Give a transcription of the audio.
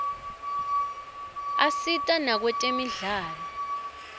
asita nakwetemidlalo